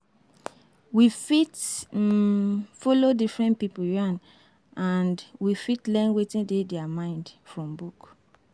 We fit um follow different pipo yarn and we fit learn wetin dey their mind from book